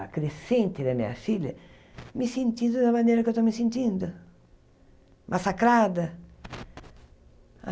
acrescente da minha filha, me sentindo da maneira que eu estou me sentindo, massacrada.